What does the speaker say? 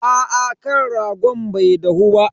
Aa kan ragon bai dahu ba.